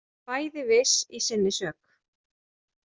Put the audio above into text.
Bæði viss í sinni sök.